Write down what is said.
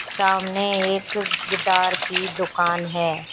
सामने एक गिटार की दुकान है।